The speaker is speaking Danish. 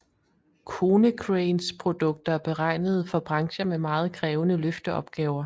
Konecranes produkter er beregnet for brancher med meget krævende løfteopgaver